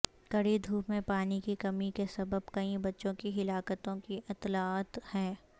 کڑی دھوپ میں پانی کی کمی کے سبب کئی بچوں کی ہلاکتوں کی اطلاعات ہیں